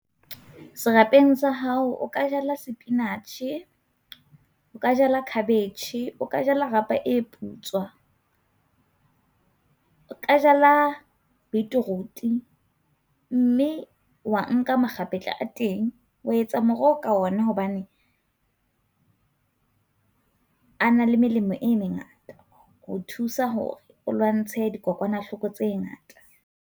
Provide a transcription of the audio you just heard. Serapeng sa hao o ka jala sepinatjhe, o ka jala cabbage, o ka jala rapa e putswa, o ka jala beetroot, mme wa nka makgapetla a teng, wa etsa moroho ka ona hobane a na le melemo e mengata ho thusa hore o lwantshe dikokwanahloko tse ngata.